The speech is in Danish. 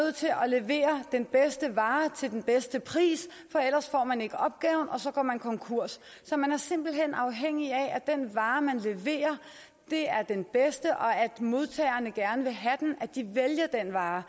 nødt til at levere den bedste vare til den bedste pris for ellers får man ikke opgaven og så går man konkurs så man er simpelt hen afhængig af at den vare man leverer er den bedste og at modtagerne gerne vil have den at de vælger den vare